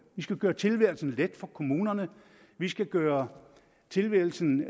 vi skal gøre tilværelsen let for kommunerne vi skal gøre tilværelsen